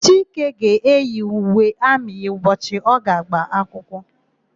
Chike ga-eyi uwe amị ya n'ụbọchị ọ ga-agba akwụkwọ.